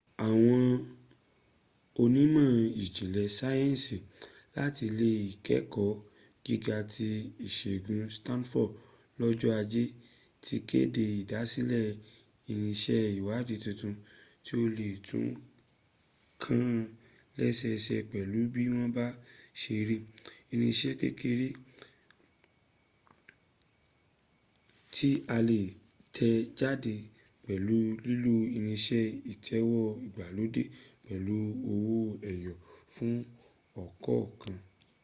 àwọn onímọ̀ ìjìnlẹ̀ sáyẹ̀nsì láti ilé ìkẹ́ẹ̀kọ́ gíga ti ìsègun stanford lọ́jọ́ ajé ti kéde ìdásílẹ̀ irinṣẹ́ ìwádìí tuntun tí ó le tó nǹkan lẹ́sẹẹsẹ pẹ̀lú bí wọ́n bá se rí: irinṣẹ́ kéreké tí a lè tẹ̀ jáde pẹ̀lú lílo irinṣẹ́ ìtẹ̀wé ìgbàlódé pẹ̀lú owó ẹyọ fún ọ̀kọ̀ọ̀kan